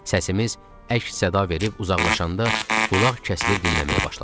Səsimiz əks-səda verib uzaqlaşanda, qulaq kəsilib dinləməyə başladıq.